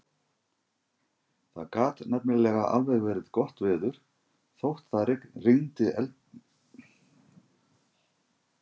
Það gat nefnilega alveg verið gott veður þótt það rigndi eldi og brennisteini.